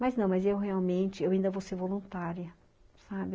Mas não, mas eu realmente, eu ainda vou ser voluntária, sabe?